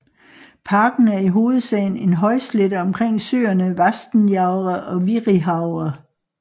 Parken er i hovedsagen en højslette omkring søerne Vastenjaure og Virihaure